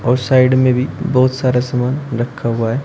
और साइड में भी बहुत सारा समान रखा हुआ है।